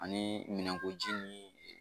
Ani minɛnkoji ni